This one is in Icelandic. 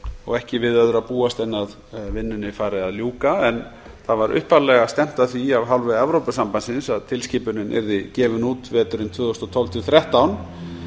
og ekki við öðru að búast en að vinnunni fari að ljúka upphaflega var stefnt að því af hálfu evrópusambandsins að tilskipunin yrði gefin út veturinn tvö þúsund og tólf til tvö þúsund og þrettán